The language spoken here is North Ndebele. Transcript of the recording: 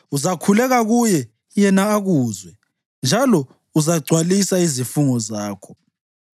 Uzakhuleka kuye, yena akuzwe, njalo uzagcwalisa izifungo zakho.